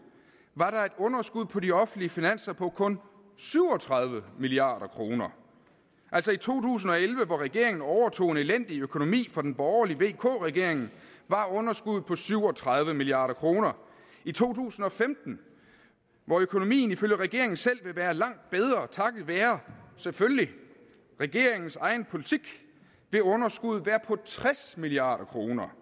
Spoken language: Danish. var der et underskud på de offentlige finanser på kun syv og tredive milliard kroner altså i to tusind og elleve hvor regeringen overtog en elendig økonomi fra den borgerlige vk regering var underskuddet på syv og tredive milliard kroner i to tusind og femten hvor økonomien ifølge regeringen selv vil være langt bedre takket være selvfølgelig regeringens egen politik vil underskuddet være på tres milliard kroner